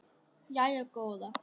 Jæja góða.